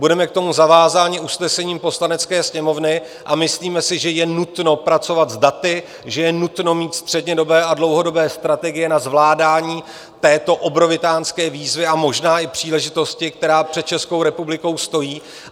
Budeme k tomu zavázáni usnesením Poslanecké sněmovny a myslíme si, že je nutno pracovat s daty, že je nutno mít střednědobé a dlouhodobé strategie na zvládání této obrovitánské výzvy a možná i příležitosti, která před Českou republikou stojí.